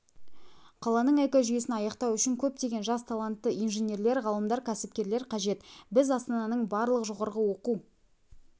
қаланың экожүйесін аяқтау үшін көптеген жас талантты инженерлер ғалымдар кәсіпкерлер қажет біз астананың барлық жоғары оқу